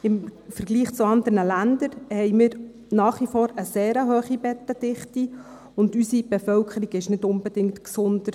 Im Vergleich zu anderen Ländern haben wir nach wie vor eine sehr hohe Bettendichte, und unsere Bevölkerung ist deswegen nicht unbedingt gesünder.